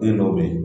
Den dɔw bɛ yen